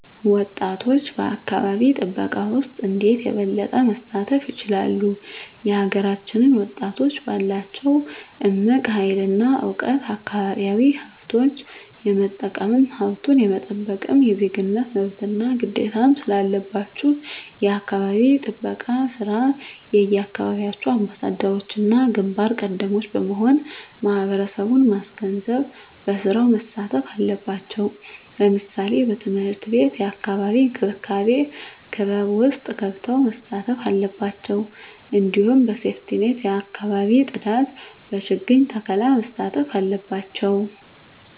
ወጣቶች በአካባቢ ጥበቃ ውስጥ እንዴት የበለጠ መሳተፍ ይችላሉ? የሀገራችንን ወጣቶች ባላቸው እምቅ ሀይል እና እውቀት አካባቢያዊ ሀብቶች የመጠቀምም ሀብቱን የመጠበቅም የዜግነት መብትና ግዴታም ስላለባችሁ የአካባቢ ጥበቃ ስራ የየአካባቢያችሁ አምባሳደሮችና ግንባር ቀደሞች በመሆን ማህበረሰቡን ማስገንዘብ በስራው መሳተፍ አለባቸው ለምሳሌ በትምህርት ቤት የአካባቢ እንክብካቤ ክበብ ውስጥ ገብተው መሳተፍ አለባቸው እንዲሁም በሴፍትኔት የአካባቢ ፅዳት በችግኝ ተከላ መሳተፍ አለባቸው